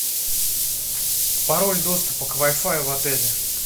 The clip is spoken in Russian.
пароль доступа к вай фаю в отеле